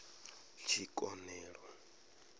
tshikonelo